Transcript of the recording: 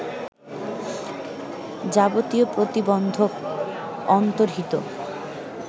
যাবতীয় প্রতিবন্ধক অন্তর্হিত